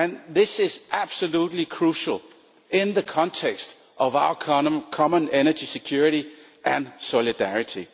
This is absolutely crucial in the context of our common energy security and solidarity.